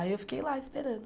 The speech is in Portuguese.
Aí eu fiquei lá esperando.